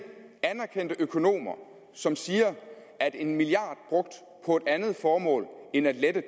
anerkendte økonomer som siger at en milliard brugt på et andet formål end at lette